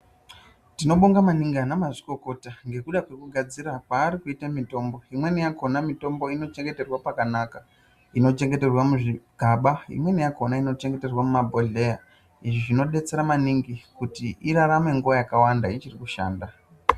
Tinobonga maningi anamazvikokota ngekuda kwekugadzira kwaarikuita mitombo. Imweni yakona mitombo inochengeterwa pakanaka, inochengeterwa muzvigaba imweni yakona inochengeterwa muzvibhodheya, izvi zvinodetsera maningi kuti irarame nguwa yakawanda ichiri kushanda